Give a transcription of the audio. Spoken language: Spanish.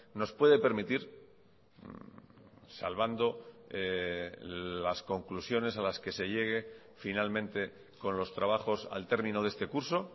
nos puede permitir salvando las conclusiones a las que se llegue finalmente con los trabajos al termino de este curso